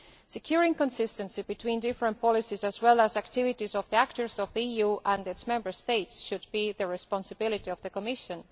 Securing consistency between the different policies, as well as the activities, of the actors of the EU and its Member States should be the responsibility of the Commission.